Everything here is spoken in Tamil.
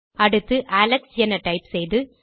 அடுத்து அலெக்ஸ் என டைப் செய்து